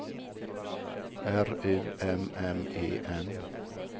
R U M M E N